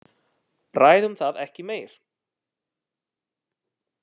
Ræðum það ekki meir.